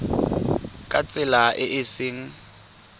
ka tsela e e seng